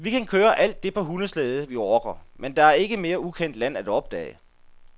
Vi kan køre alt det på hundeslæde, vi orker, men der er ikke mere ukendt land at opdage.